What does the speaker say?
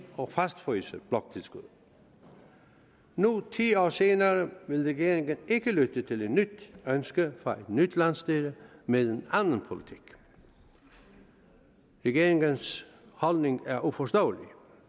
og fastfryse bloktilskuddet nu ti år senere vil regeringen ikke lytte til et nyt ønske fra et nyt landsstyre med en anden politik regeringens holdning er uforståelig